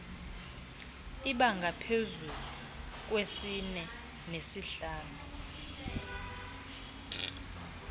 abangaphezu kwesine nesihlanu